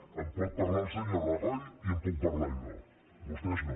en pot parlar el senyor rajoy i en puc parlar jo vostès no